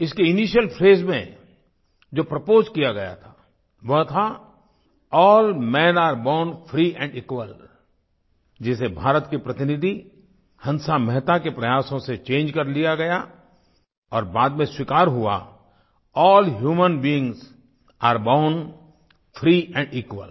इसके initial phrase में जो प्रपोज किया गया था वो था all men are born free and equal जिसे भारत की प्रतिनिधि हंसा मेहता के प्रयासों से चंगे कर लिया गया और बाद में स्वीकार हुआ all humans beings are born free and equal